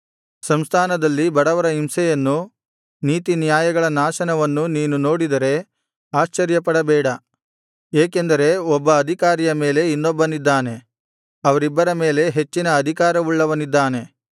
ಸಂಸ್ಥಾನದಲ್ಲಿ ಬಡವರ ಹಿಂಸೆಯನ್ನೂ ನೀತಿನ್ಯಾಯಗಳ ನಾಶನವನ್ನೂ ನೀನು ನೋಡಿದರೆ ಆಶ್ಚರ್ಯಪಡಬೇಡ ಏಕೆಂದರೆ ಒಬ್ಬ ಅಧಿಕಾರಿಯ ಮೇಲೆ ಇನ್ನೊಬ್ಬನಿದ್ದಾನೆ ಅವರಿಬ್ಬರ ಮೇಲೆ ಹೆಚ್ಚಿನ ಅಧಿಕಾರವುಳ್ಳವನಿದ್ದಾನೆ